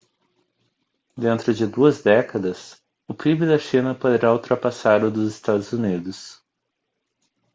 dentro de duas décadas o pib da china poderá ultrapassar o dos estados unidos